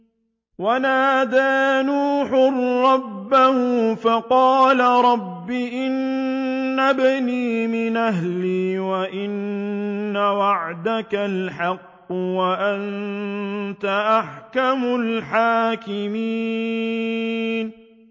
وَنَادَىٰ نُوحٌ رَّبَّهُ فَقَالَ رَبِّ إِنَّ ابْنِي مِنْ أَهْلِي وَإِنَّ وَعْدَكَ الْحَقُّ وَأَنتَ أَحْكَمُ الْحَاكِمِينَ